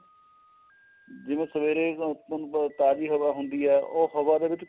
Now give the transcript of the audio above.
ਜਿਵੇਂ ਉਹ ਸਵੇਰੇ ਤੁਹਾਨੂੰ ਪਤਾ ਤਾਜੀ ਹਵਾ ਹੁੰਦੀ ਏ ਉਹ ਹਵਾ ਦੇ ਵਿੱਚ